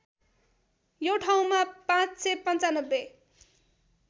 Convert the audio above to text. यो ठाउँमा ५९५